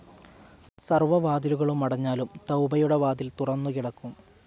സർവ വാതിലുകളും അടഞ്ഞാലും തൌബയുടെ വാതിൽ തുറന്നുകിടക്കും.